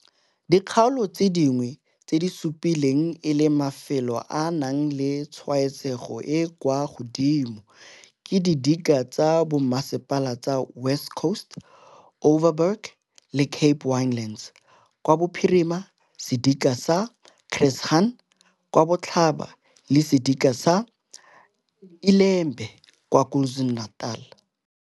Dikgaolo tse dingwe tse di supilweng e le mafelo a a nang le tshwaetsego e e kwa godimo ke didika tsa bommasepala tsa West Coast, Overberg le Cape Winelands kwa Kapa Bophirima, sedika sa Chris Hani kwa Kapa Botlhaba, le sedika sa iLembe kwa KwaZulu-Natal.